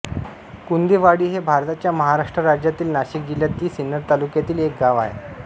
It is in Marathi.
कुंदेवाडी हे भारताच्या महाराष्ट्र राज्यातील नाशिक जिल्ह्यातील सिन्नर तालुक्यातील एक गाव आहे